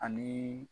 Ani